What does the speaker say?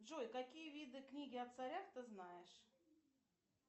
джой какие виды книги о царях ты знаешь